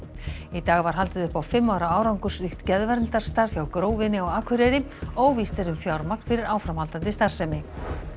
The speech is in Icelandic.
í dag var haldið upp á fimm ára árangursríkt hjá Grófinni á Akureyri óvíst er um fjármagn fyrir áframhaldandi starfsemi